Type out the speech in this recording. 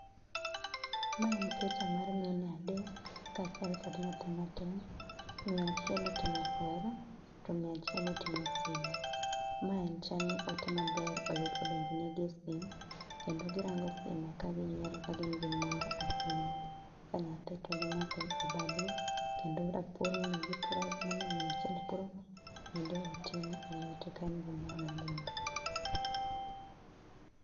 Mae en picha mar mine adek kachiel kod nyathi matin, miyo achiel otingo kweru to miyo achiel otingo simu. Mae en chalni ote maber oyud, odonjonegi e sim kendo girango sime kaginyiero kagin gi mor ahinya ka nyathi to gimake e bade kendo rapur mane gipuro go, mane miyo achiel puro go bende oting e lwete kanyo gi mor mogundho.